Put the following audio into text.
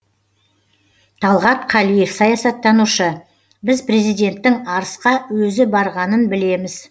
талғат қалиев саясаттанушы біз президенттің арысқа өзі барғанын білеміз